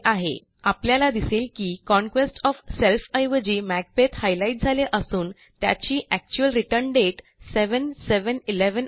आपल्याला दिसेल की कॉन्क्वेस्ट ओएफ सेल्फ ऐवजी मॅकबेथ हायलाईट झाले असून त्याची एक्चुअल रिटर्न दाते 7711 आहे